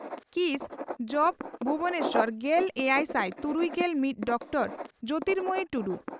ᱠᱤᱥ ᱡᱹᱵᱹ ᱵᱷᱩᱵᱚᱱᱮᱥᱚᱨ᱾ᱜᱮᱞᱮᱭᱟᱭᱥᱟᱭ ᱛᱩᱨᱩᱭᱜᱮᱞ ᱢᱤᱛ ᱰᱚᱠᱴᱚᱨᱹ ᱡᱚᱛᱤᱨᱢᱚᱭᱤ ᱴᱩᱰᱩ